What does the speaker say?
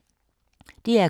DR K